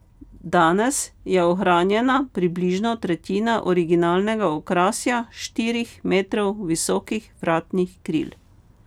Danes je ohranjena približno tretjina originalnega okrasja štirih metrov visokih vratnih kril.